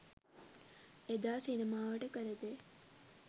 එදා සිනමාවට කළ දේ